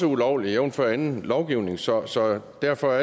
ulovligt jævnfør anden lovgivning så så derfor